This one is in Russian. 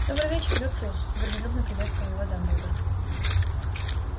добрый вечер люциус дружелюбно приветствовал его дамблдор